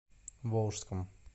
волжском